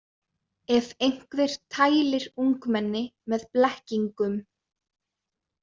Ef einhver tælir ungmenni með blekkingum.